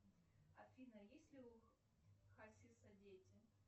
афина есть ли у хасиса дети